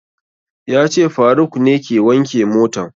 Ya ce faruk ne ke wanke motan